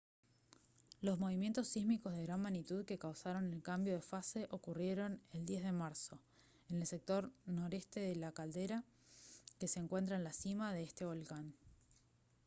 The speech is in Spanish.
los movimientos sísmicos de gran magnitud que causaron el cambio de fase ocurrieron el 10 de marzo en el sector noreste de la caldera que se encuentra en la cima de este volcán